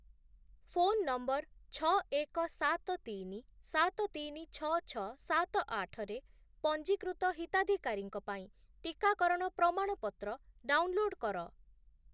Phone number ଛଅ, ଏକ, ସାତ, ତିନି, ସାତ, ତିନି, ଛଅ, ଛଅ, ସାତ, ଆଠ ରେ ପଞ୍ଜୀକୃତ ହିତାଧିକାରୀଙ୍କ ପାଇଁ ଟିକାକରଣ ପ୍ରମାଣପତ୍ର ଡାଉନ୍‌ଲୋଡ୍ କର ।